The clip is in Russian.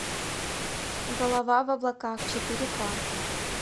голова в облаках четыре ка